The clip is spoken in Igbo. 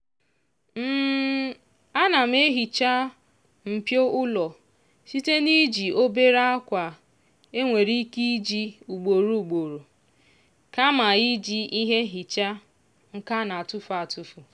ana m ehiicha mpio ụlọ site n'iji obere akwa e nwere ike iji ugboro ugboro kama iji ihe nhicha nke a na-etufu etufu.